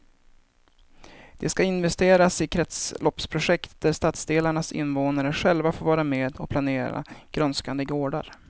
Det ska investeras i kretsloppsprojekt där stadsdelarnas invånare själva får vara med och planera grönskande gårdar.